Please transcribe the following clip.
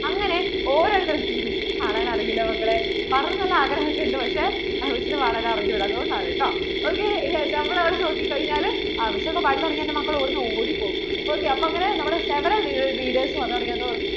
അങ്ങനെ ഓരോരുത്തർക്കും Miss നു നു പാടാൻ അറിയില്ല മക്കളെ പാടണം എന്ന് നല്ല ആഗ്രഹം ഒക്കെയുണ്ട് പക്ഷേ Miss നു പാടാൻ അറിഞ്ഞൂടാ അതുകൊണ്ടാട്ടോ ok നമ്മൾ അവിടെ നോക്കി കഴിഞ്ഞാൽ Miss ഒക്കേ പാടി കഴിഞ്ഞാൽ എൻ്റെ മക്കൾ ഇവിടുന്നു ഓടി പോകും ok അപ്പോൾ നമ്മടെ several readers വന്നു തുടങ്ങി